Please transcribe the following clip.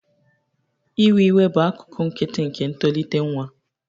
Iwe iwe bụ akụkụ nkịtị nke ntolite nwa.